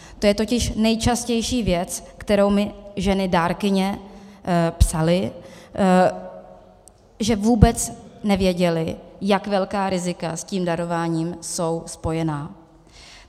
To je totiž nejčastější věc, kterou mi ženy dárkyně psaly, že vůbec nevěděly, jak velká rizika s tím darováním jsou spojená.